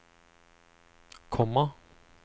komma